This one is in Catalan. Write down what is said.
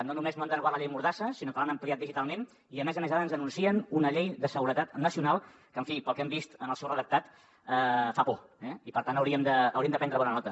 no només no han derogat la llei mordassa sinó que l’han ampliat digitalment i a més a més ara ens anuncien una llei de seguretat nacional que en fi pel que hem vist en el seu redactat fa por eh i per tant hauríem de prendre’n bona nota